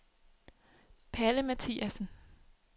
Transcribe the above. Palle Mathiasen